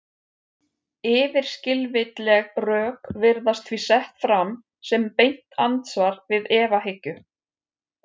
Yfirskilvitleg rök virðast því sett fram sem beint andsvar við efahyggju.